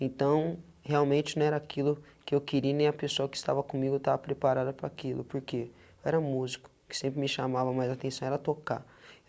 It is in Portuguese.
Então, realmente, não era aquilo que eu queria e nem a pessoa que estava comigo estava preparada para aquilo, porque era músico, que sempre me chamava, mas a atenção era tocar.